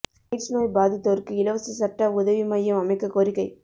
AIDS நோய் பாதித்தோருக்கு இலவச சட்ட உதவி மையம் அமைக்கக் கோரிக்கை